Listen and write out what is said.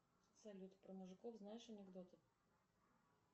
салют про мужиков знаешь анекдоты